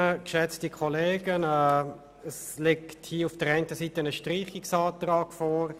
Ich erteile somit dem Kommissionspräsidenten der Kommission das Wort.